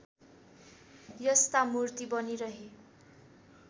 यस्ता मूर्ति बनिरहे